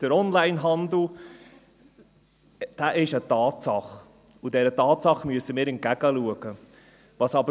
Der Onlinehandel ist eine Tatsache, und dieser Tatsache müssen wir ins Auge blicken.